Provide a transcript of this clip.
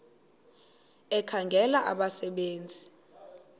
ekhangela abasebe nzi